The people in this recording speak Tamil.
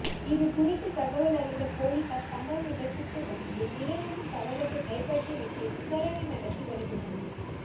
இது குறித்து தகவலறிந்த பொலிசார் சம்பவ இடத்துக்கு வந்து இளைஞரின் சடலத்தை கைப்பற்றிவிட்டு விசாரணை நடத்தி வருகிறார்கள்